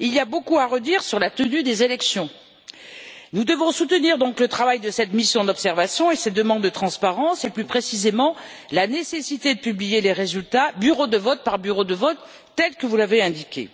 il y a beaucoup à redire sur la tenue des élections. Nous devons donc soutenir le travail de cette mission d'observation et ses demandes de transparence et, plus précisément, la nécessité de publier les résultats bureau de vote par bureau de vote, comme vous l'avez indiqué.